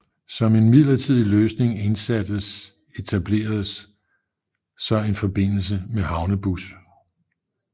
Som en midlertidig løsning indsattes etableredes så en forbindelse med havnebus